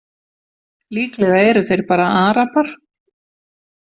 Líklega eru þeir bara Arabar.